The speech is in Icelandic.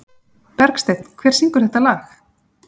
Bergsteinn, hver syngur þetta lag?